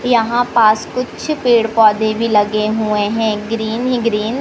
यहां पास कुछ पेड़ पौधे भी लगे हुए हैं ग्रीन ही ग्रीन ।